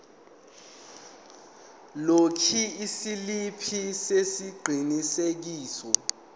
lokhu isiliphi sesiqinisekiso